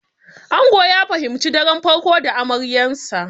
Ango ya fahimci daren farko da amaryansa.